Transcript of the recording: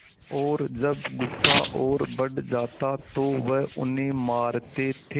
और जब गुस्सा और बढ़ जाता तो वह उन्हें मारते थे